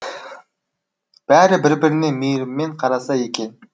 бәрі бір біріне мейіріммен қараса екен